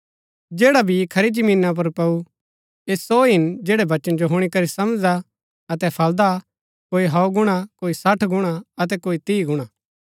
जैडा बी खरी जमीना पुर पैऊ ऐह सो हिन जैड़ै वचन जो हुणी करी समझदा अतै फलदा कोई सौ गुणा कोई सठ गुणा अतै कोई तीह गुणा